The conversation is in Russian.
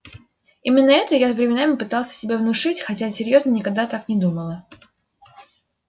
именно это я временами пыталась себе внушить хотя серьёзно никогда так не думала